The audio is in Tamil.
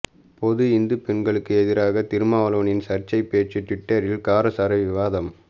பொது இந்து பெண்களுக்கு எதிராக திருமாவளவனின் சர்ச்சை பேச்சு டுவிட்டரில் காரசார விவாதம்